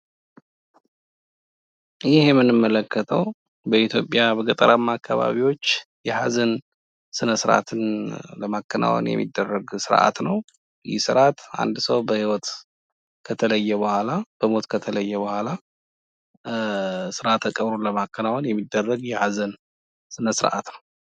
ይህ የምንመለከተው በኢትዮጵያ የገጠር አካባቢ የሃዘን ስነስርዓት ለማከናወን የሚደረግ ስርአት ሲሆን፤ ይህ ስርአት አንድ ሰው በሞት ከተለየ በኋላ ስርአተ ቀብሩን ለማከናወን የሚደረግ ስርአት ነው።